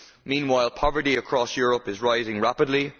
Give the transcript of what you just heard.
Meanwhile poverty across Europe is rising rapidly.